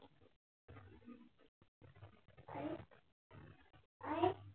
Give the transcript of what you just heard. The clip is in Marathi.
आई